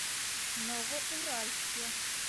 новоуральске